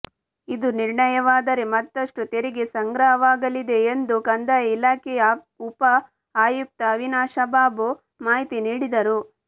ಇದು ನಿರ್ಣಯವಾದರೆ ಮತ್ತಷ್ಟು ತೆರಿಗೆ ಸಂಗ್ರಹವಾಗಲಿದೆ ಎಂದು ಕಂದಾಯ ಇಲಾಖೆಯ ಉಪಆಯುಕ್ತ ಅವಿನಾಶ್ಬಾಬು ಮಾಹಿತಿ ನೀಡಿದರು